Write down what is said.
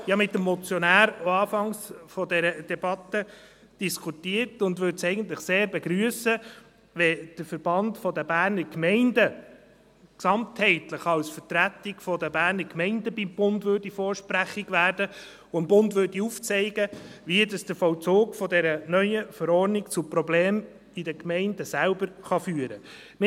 Ich habe mit dem Motionär zu Beginn dieser Debatte diskutiert und würde es eigentlich sehr begrüssen, wenn der Verband der Bernischen Gemeinden (VBG) gesamtheitlich als Vertretung der Berner Gemeinden beim Bund vorsprechig würde und dem Bund aufzeigte, wie der Vollzug dieser neuen Verordnung zu Problemen in den Gemeinden selbst führen kann.